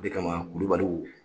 O de kama kulubaliw